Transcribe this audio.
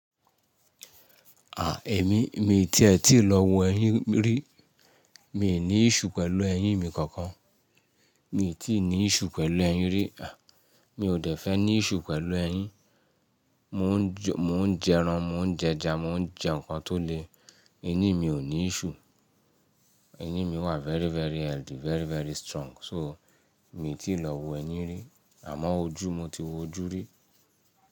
À, èmi, mi ti ẹ tí lọ wo ẹyín rí. Mi ò ní iṣu pẹ̀lú eyín mi kankan. Mi ò tí ì ní iṣu pẹ̀lú ẹyín rí. À, mi ò dẹ̀ fẹ́ ní iṣu pẹ̀lú ẹyín. Mo ń jẹran, mo ń jẹja, mo ń jẹ nǹkan tó le. Eyín mi ò ní iṣu. Eyín mi wà very, very healthy, very, very strong. So, mi ò tí lọ wo eyín rí. Àmọ́ ojú, mo ti wo ojú rí.